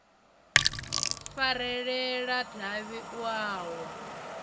farelela davhi u a wa